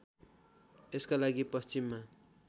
यसका लागि पश्चिममा